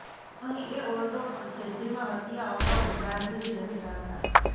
અહીં એ ઓરડો પણ છે જેમાં હત્યા અગાઉ ગાંધીજી રહેતા હતા